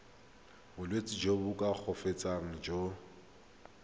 bolwetsi jo bo koafatsang jo